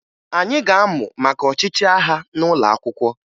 Anyị ga-amụ maka ọchịchị agha n'ụlọ akwụkwọ